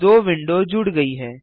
दो विंडो जुड़ गई हैं